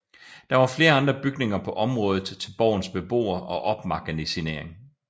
Der var flere andre bygninger på området til borgens beboere og opmagasinering